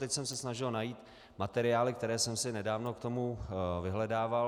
Teď jsem se snažil najít materiály, které jsem si nedávno k tomu vyhledával.